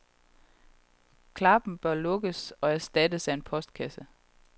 Klappen bør lukkes og erstattes af en postkasse.